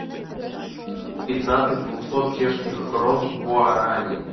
пятнадцать двухсот чешских крон в гуарани